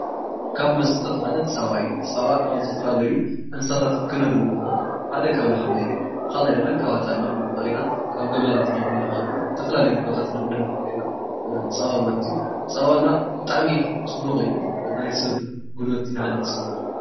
ካብ መስተታት ሓደ ፀባ እዩ፡፡ ፀባ ካብዝተፈላለዩ እንስሳታት ክነግኒ ንክእል፡፡ 1, ካብ ላሕሙ እዩ፡፡ 2, ካብ ኣጣል ክነግኒ ንክእል ኢና፡፡ ካብ ጊመላት ክነግኒ ንክእል ኢና ዝተፈላለዩ ቦታታት ክንገንይ ንክእል ኢና ፀባ ማለት እዩ፡፡ ፀባ ብጣዕሚ ፅቡቅ እዩ ናይ ሰብ ጉልበት ይሃንፅ እዩ፡፡